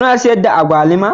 Kuna sayar da agwaluma?